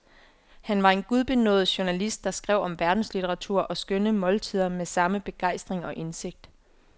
Han var en gudbenådet journalist, der skrev om verdenslitteratur og skønne måltider med samme begejstring og indsigt.